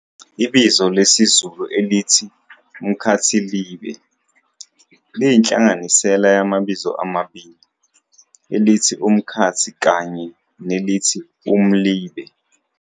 Ibizo lesizulu elithi "umkhathilibe" liyinhlanganisela yamabizo amabili, elithi 'umkhathi' kanye nelithi 'umlibe'.